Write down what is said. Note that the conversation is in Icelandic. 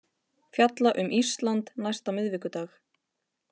Fjalla um Ísland næsta miðvikudag